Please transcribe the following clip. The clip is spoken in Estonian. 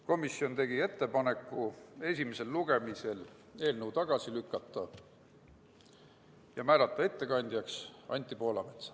Samuti tegi komisjon ettepaneku eelnõu esimesel lugemisel tagasi lükata ja määrata ettekandjaks Anti Poolametsa.